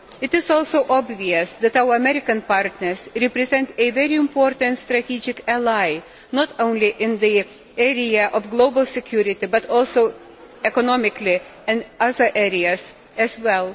It is also obvious that our American partners represent a very important strategic ally, not only in the area of global security, but also economically and in other areas as well.